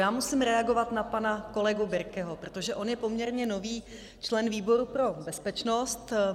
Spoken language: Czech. Já musím reagovat na pana kolegu Birkeho, protože on je poměrně nový člen výboru pro bezpečnost.